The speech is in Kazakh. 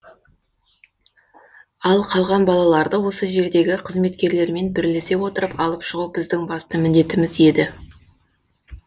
ал қалған балаларды осы жердегі қызметкерлермен бірлесе отырып алып шығу біздің басты міндетіміз еді